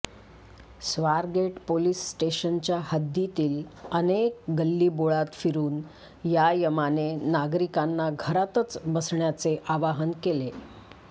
Swargate police स्टेशनच्या हद्दीतील अनेक गल्लीबोळात फिरून या यमाने नागरिकांना घरातच बसण्याचे आवाहन केले